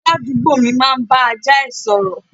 Aládùúgbò mi máa ń bá ajá ẹ̀ sọ̀rọ̀